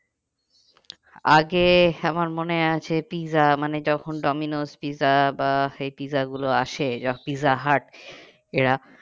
আগে আমার মনে আছে পিৎজা মানে যখন ডোমিনোস পিৎজা বা এই পিৎজা গুলো আসে, পিৎজা হাট এরা